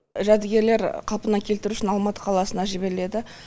жәдігерлер қалпына келтіру үшін алматы қаласына жіберіледі